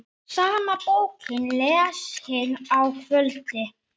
Sama bókin lesin að kvöldi.